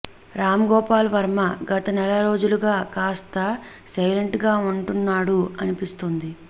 రామ్ గోపాల్ వర్మ గత నెల రోజులుగా కాస్త సైలెంట్గా ఉంటున్నాడు అనిపిస్తుంది